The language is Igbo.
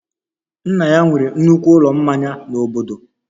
Nna ya nwere nnukwu ụlọ mmanya n'obodo